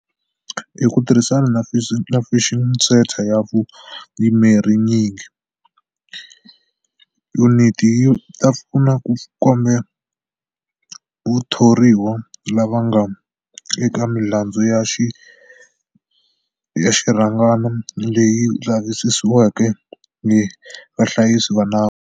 Hi ku tirhisana na Fusion Centre ya vuyimeri nyingi, yuniti yi ta pfuna ku komba vathoriwa lava nga eka milandzu ya xirhangana leyi lavisisiwaka hi vahlayisi va nawu.